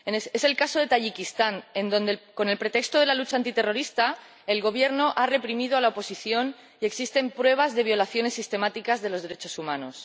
Es el caso de Tayikistán, donde, con el pretexto de la lucha antiterrorista, el Gobierno ha reprimido a la oposición y existen pruebas de violaciones sistemáticas de los derechos humanos.